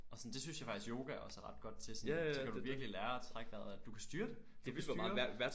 Og sådan det synes jeg faktisk yoga også er ret godt til sådan så kan du virkelig lære at trække vejret og at du kan styre det! Du kan styre